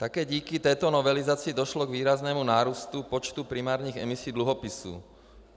Také díky této novelizaci došlo k výraznému nárůstu počtu primárních emisí dluhopisů.